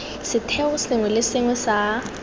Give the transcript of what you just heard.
setheo sengwe le sengwe sa